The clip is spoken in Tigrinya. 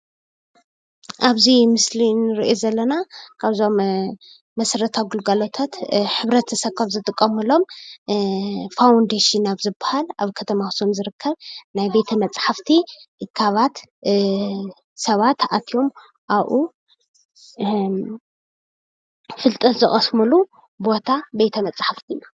ኣብዚ ምስሊ እንርኦ ዘለና ካብዞም መሰረታዊ ግልጋሎት ሕብረተሰብ ዝጥቀመሎም ፋውንደሽን ዝባሃል ኣብ ከተማ ዝርከብ ኣክሱም ናይ ቤተ መፃሕፍቲ እካባት ዝርከበሉ ኮይኑ ሰባት ተኣኪቦም ኣብኡ ፍልጠት ዝቀስምሉ ታቤተ መፃሕፍቲ እዩ።